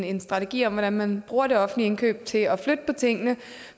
en strategi om hvordan man bruger de offentlige indkøb til at flytte på tingene